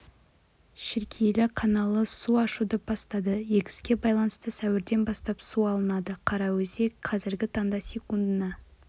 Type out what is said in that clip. шіркейлі каналы су ашуды бастады егіске байланысты сәуірден бастап су алынады қараөзек қазіргі таңда секундына